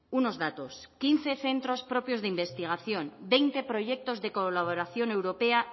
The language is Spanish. unos datos quince centros propios de investigación veinte proyectos de colaboración europea